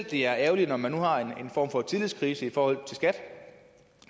det er ærgerligt når man nu har en form for tillidskrise i forhold til skat